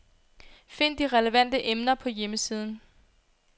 Find de relevante emner på hjemmesiden.